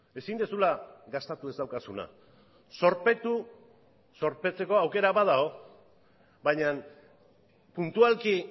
ezin duzula gastatu ez daukazuna zorpetu zorpetzeko aukera badago baina puntualki